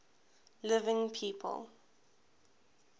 living people